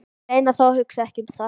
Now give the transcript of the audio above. Ég reyni þó að hugsa ekki um það.